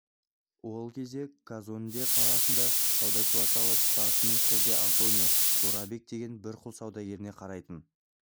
ол кезде казонде қаласының сауда кварталы тұтасымен хозе-антонио жорабек деген бір құл саудагеріне қарайтын